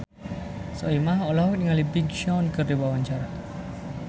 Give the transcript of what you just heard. Soimah olohok ningali Big Sean keur diwawancara